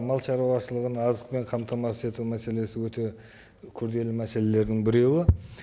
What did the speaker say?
мал шаруашылығын азықпен қамтамасыз ету мәселесі өте күрделі мәселелердің біреуі